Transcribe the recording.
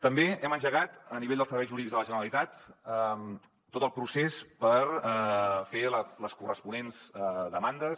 també hem engegat a nivell dels serveis jurídics de la generalitat tot el procés per fer les corresponents demandes